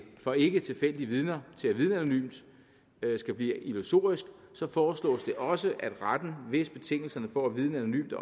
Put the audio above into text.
for ikketilfældige vidner til at vidne anonymt skal blive illusorisk foreslås det også at retten hvis betingelserne for at vidne anonymt